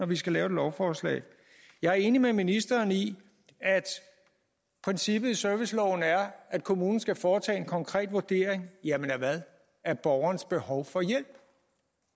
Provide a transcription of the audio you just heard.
vi skal lave et lovforslag jeg er enig med ministeren i at princippet i serviceloven er at kommunen skal foretage en konkret vurdering af borgerens behov for hjælp